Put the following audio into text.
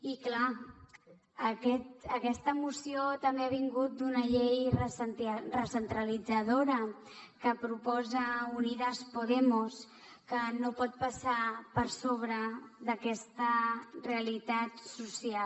i clar aquesta moció també ha vingut d’una llei recentralitzadora que proposa unidas podemos que no pot passar per sobre d’aquesta realitat social